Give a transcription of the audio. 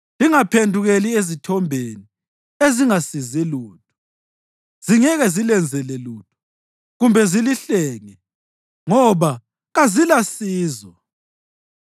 Lingaphendukeli ezithombeni ezingasizi lutho. Zingeke zilenzele lutho, kumbe zilihlenge, ngoba kazilasizo.